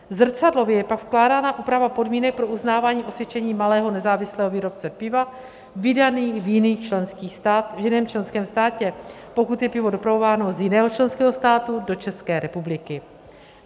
Zrcadlově je pak vkládána úprava podmínek pro uznávání osvědčení malého nezávislého výrobce piva vydané v jiném členském státě, pokud je pivo dopravováno z jiného členského státu do České republiky.